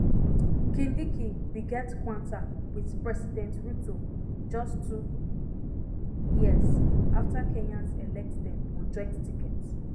kindiki bin get kwanta wit president ruto just two years afta kenyans elect dem on joint ticket